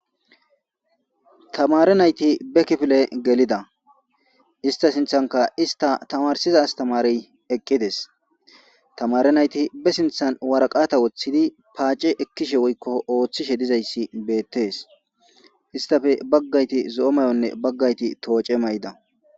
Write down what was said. Tamare nayit be kifile gelida ista sinthanika ista tamarisida astamareyi eqidezi tamare nayiti baa sinithan wariqate wothidi pacce ekishe deyisi betesi istappe bagati zoyo mayone tocce mayidda